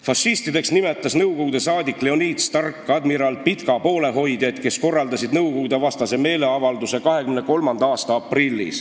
"Fašistideks nimetas Nõukogude saadik Leonid Stark 1923. aasta aprillis admiral Pitka poolehoidjaid, kes korraldasid Nõukogude-vastase meeleavalduse.